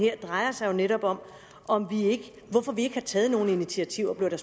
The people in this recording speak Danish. her drejer sig netop om hvorfor vi ikke har taget nogen initiativer det